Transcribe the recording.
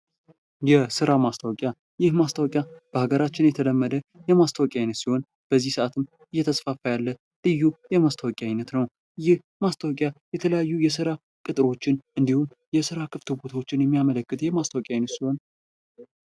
የስራ ማስታወቂያ፦ ይህ ማስታወቂያ በሀገራችን የተለመደ የማስታወቂያ አይነት ሲሆን በዚህ ሰአትም እየተስፋፋ ያለ ልዩ የማስታወቂያ አይነት ነው። ይህ ማስታወቂያ የተለያዩ የስራ ቅጥሮችን እንድሁም የስራ ክፍት ቦታዎችን የሚያመለክት የማስታወቂያ አይነት ሲሆን